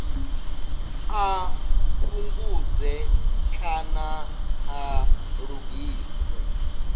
a fhungudze kana a lugise